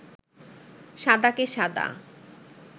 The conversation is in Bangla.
সাদাকে সাদা